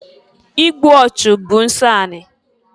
Igbu ọchụ bụ nsọ ani.